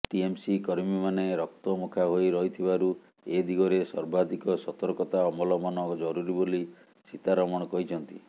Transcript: TMC କର୍ମୀମାନେ ରକ୍ତମୁଖା ହୋଇ ରହିଥିବାରୁ ଏ ଦିଗରେ ସର୍ବାଧିକ ସତର୍କତା ଅବଲମ୍ବନ ଜରୁରୀ ବୋଲି ସୀତାରମଣ କହିଛନ୍ତି